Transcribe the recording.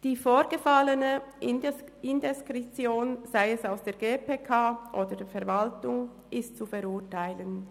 Die vorgefallene Indiskretion, sei es seitens der GPK, sei es seitens der Verwaltung, ist zu verurteilen.